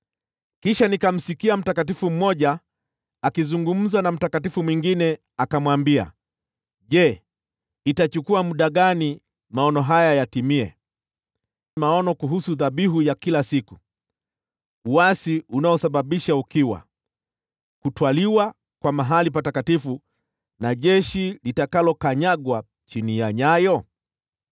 Kisha nikamsikia mtakatifu mmoja akizungumza na mtakatifu mwingine, akamwambia, “Je, itachukua muda gani maono haya yatimie: maono kuhusu dhabihu ya kila siku, uasi unaosababisha ukiwa, kutwaliwa kwa mahali patakatifu, na jeshi litakalokanyagwa chini ya nyayo?”